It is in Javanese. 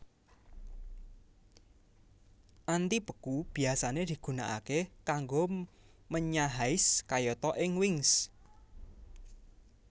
Antibeku biasane digunakake kanggo menyahais kayata ing wings